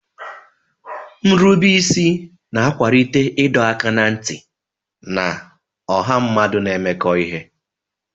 Nrubeisi na-akwalite ịdọ aka ná ntị na ọha mmadụ na-emekọ ihe.